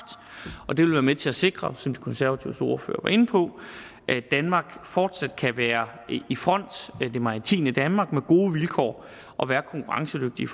og det vil være med til at sikre som de konservatives ordfører var inde på at danmark fortsat kan være i front det maritime danmark med gode vilkår og være konkurrencedygtige